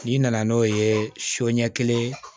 N'i nana n'o ye so ɲɛ kelen